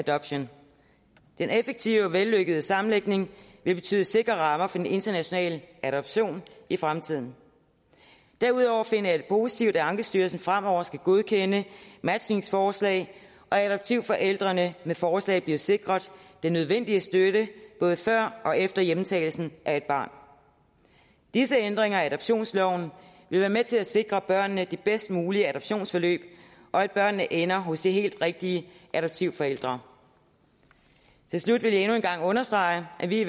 adoption den effektive og vellykkede sammenlægning vil betyde sikre rammer for den internationale adoption i fremtiden derudover finder jeg det positivt at ankestyrelsen fremover skal godkende matchningsforslag og at adoptivforældrene med forslaget bliver sikret den nødvendige støtte både før og efter hjemtagelsen af et barn disse ændringer af adoptionsloven vil være med til at sikre børnene de bedst mulige adoptionsforløb og at børnene ender hos de helt rigtige adoptivforældre til slut vil jeg endnu en gang understrege at vi i